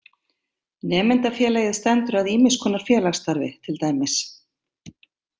Nemendafélagið stendur að ýmiss konar félagsstarfi til dæmis.